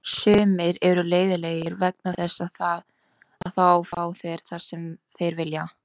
Sumir eru leiðinlegir vegna þess að þá fá þeir það sem þeir vilja.